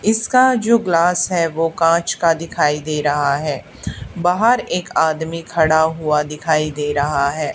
इसका जो ग्लास है वो काच का दिखाई दे रहा है। बाहर एक आदमी खड़ा हुआ दिखाई दे रहा है।